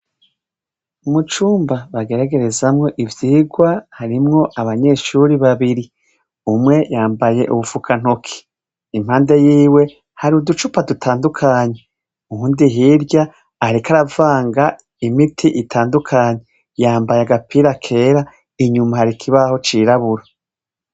Mu cumba bageragerezamwo ivyigwa, harimwo abanyeshure babiri. Umwe yambaye ubufukantoke. Impande yiwe hari uducupa dutandukanye. Uwundi hirya ariko aravanga imiti itandukanye ; yamabaye agapira kera, inyuma hari ikibaho cirabura.